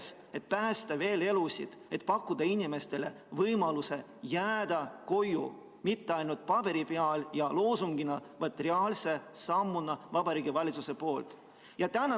See aitaks päästa elusid, annaks inimestele võimaluse jääda koju – mitte ainult paberi peal ja loosungina, vaid Vabariigi Valitsuse poolse reaalse sammuna.